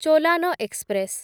Cholan express